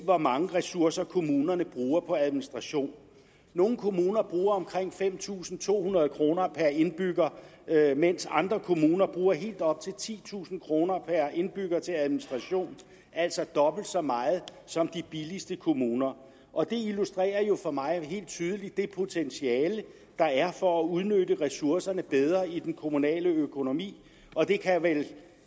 hvor mange ressourcer kommunerne bruger på administration nogle kommuner bruger omkring fem tusind to hundrede kroner per indbygger mens andre kommuner bruger helt op til titusind kroner per indbygger til administration altså dobbelt så meget som de billigste kommuner og det illustrerer jo for mig helt tydeligt det potentiale der er for at udnytte ressourcerne bedre i den kommunale økonomi og det kan vel